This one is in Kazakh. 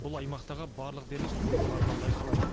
бұл аймақтағы барлық дерлік су қоймаларынан байқалады